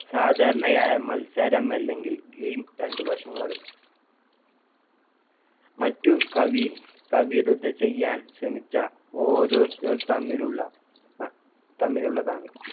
സാധാരണയായ മത്സരം അല്ലെങ്കിൽ game രണ്ട് വശങ്ങളും മറ്റു കവി~ കവിയൂരത ചെയ്യാൻ ശ്രമിച്ച ഓരോരുത്തർ തമ്മിലുള്ള തമ്മിലുള്ളതാണ്